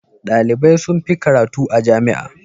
Dalibai sun fi karatu a jami'a.